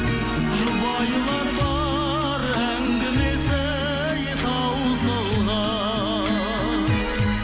жұбайлар бар әңгімесі ей таусылған